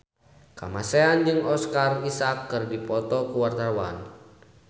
Kamasean jeung Oscar Isaac keur dipoto ku wartawan